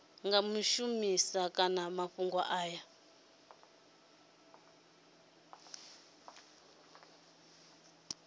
nga shumisa hani mafhumgo aya